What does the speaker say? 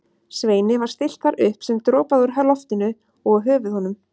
Sveini var stillt þar upp sem dropaði úr loftinu og á höfuð honum.